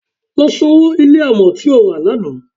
Lọ sanwó ilé amọ̀ tí o rà lánàá.